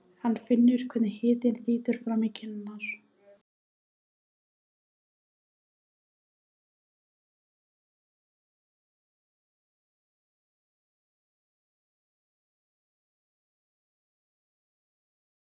Gló, hvernig kemst ég þangað?